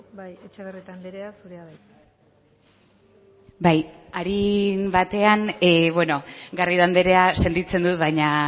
bai etxebarrieta anderea zurea da hitza bai arin batean garrido anderea sentitzen dut baina